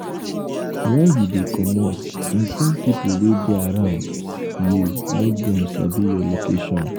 when you dey comot inform pipo wey dey around you make dem sabi your location